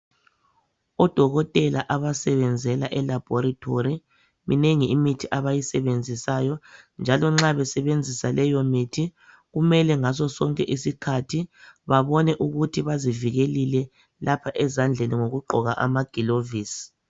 Odokotela abasebenzela eLaboratory. Minengi imithi abayisebenzisayo, njalo nxa besebenzisa leyomithi, kumele babone ngaso sonke isikhathi ukuthi bazivikelile, ngokugqoka amagilovisi.